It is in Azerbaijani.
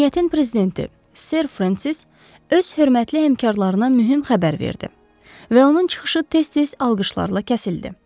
Cəmiyyətin prezidenti Ser Frensis öz hörmətli həmkarlarına mühüm xəbər verdi və onun çıxışı tez-tez alqışlarla kəsildi.